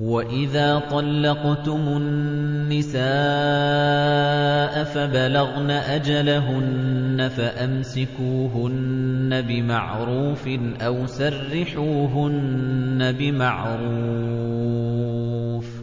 وَإِذَا طَلَّقْتُمُ النِّسَاءَ فَبَلَغْنَ أَجَلَهُنَّ فَأَمْسِكُوهُنَّ بِمَعْرُوفٍ أَوْ سَرِّحُوهُنَّ بِمَعْرُوفٍ ۚ